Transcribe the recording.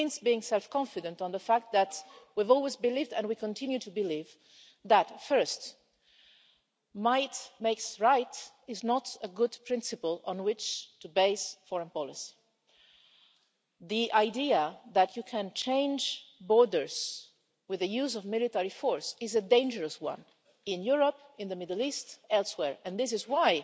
It means being self confident about the fact that we've always believed and we continue to believe that, first, might makes right' is not a good principle on which to base foreign policy. The idea that you can change borders with the use of military force is a dangerous one in Europe, in the Middle East and elsewhere. This is why